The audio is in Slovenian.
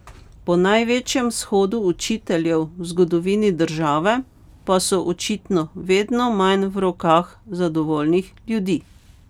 Po največjem shodu učiteljev v zgodovini države pa so očitno vedno manj v rokah zadovoljnih ljudi.